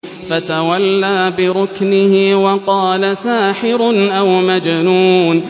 فَتَوَلَّىٰ بِرُكْنِهِ وَقَالَ سَاحِرٌ أَوْ مَجْنُونٌ